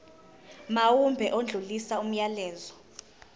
mawube odlulisa umyalezo